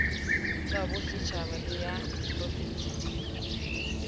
tsabosetjhaba le ysa profense di